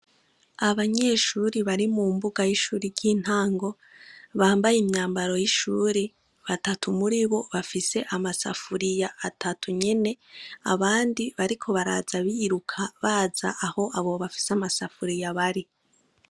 Abanyeshuri bari mu mbuga yishuri ry'intango bambaye imyambaro y'ishuri batatu muribo bafise amasafuriya atatu nyene abandi bariko baraza biruka baza aho abo bafise amasafuriya bari.